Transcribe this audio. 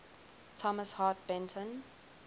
thomas hart benton